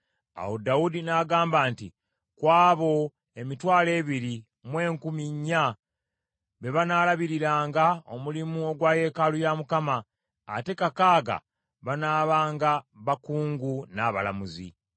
Awo Dawudi n’agamba nti, “Ku abo emitwalo ebiri mu enkumi nnya be banaalabiriranga omulimu ogwa yeekaalu ya Mukama , ate kakaaga banaabanga bakungu n’abalamuzi.